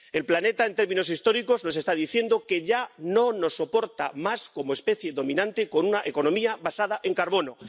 El planeta en términos históricos nos está diciendo que ya no nos soporta más como especie dominante con una economía basada en el carbono.